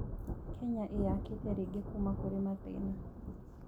Kenya ĩyakĩte rĩngĩ kuuma kũrĩ mathĩna.